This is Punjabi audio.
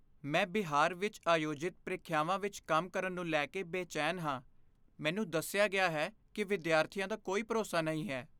ਮੈਂ ਬਿਹਾਰ ਵਿੱਚ ਆਯੋਜਿਤ ਪ੍ਰੀਖਿਆਵਾਂ ਵਿੱਚ ਕੰਮ ਕਰਨ ਨੂੰ ਲੈ ਕੇ ਬੇਚੈਨ ਹਾਂ। ਮੈਨੂੰ ਦੱਸਿਆ ਗਿਆ ਹੈ ਕਿ ਵਿਦਿਆਰਥੀਆਂ ਦਾ ਕੋਈ ਭਰੋਸਾ ਨਹੀਂ ਹੈ।